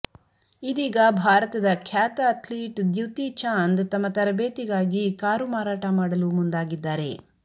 ಇದೀಗ ಭಾರತದ ಖ್ಯಾತ ಅಥ್ಲೀಟ್ ದ್ಯುತಿ ಚಾಂದ್ ತಮ್ಮ ತರಬೇತಿಗಾಗಿ ಕಾರು ಮಾರಾಟ ಮಾಡಲು ಮುಂದಾಗಿದ್ದಾರೆ